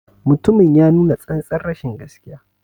Mutumin ya nuna tsantar rashin gaskiya.